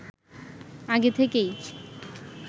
আগে থেকেই